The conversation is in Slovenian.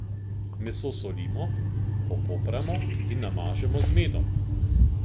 Meso solimo, popramo in namažemo z medom.